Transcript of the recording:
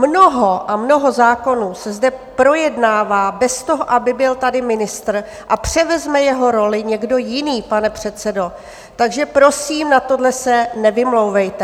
Mnoho a mnoho zákonů se zde projednává bez toho, aby tady byl ministr, a převezme jeho roli někdo jiný, pane předsedo, takže prosím, na tohle se nevymlouvejte.